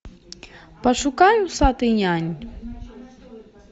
пошукай усатый нянь